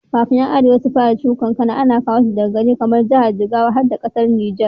Kafin 'yan arewa su fara shuka kankana, ana kowa shi daga gari kamar jigawa har da ƙasar Nijar